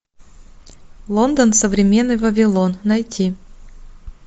лондон современный вавилон найти